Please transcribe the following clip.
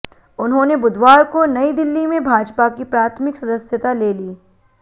उन्होंने बुधवार को नयी दिल्ली में भाजपा की प्राथमिक सदस्यता ले ली